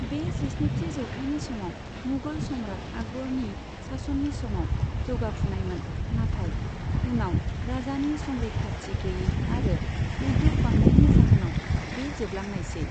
बे जिस्निथि जौथाइनि समाव मुगल सम्राट आकबरनि सासननि समाव जौगाफुनायमोन, नाथाय उनाव राजानि संरैखाथि गैयै आरो उद्योग बांनायनि जाहोनाव बे जोबलांनायसै।